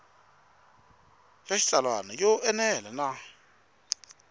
ya xitsalwana yo enela na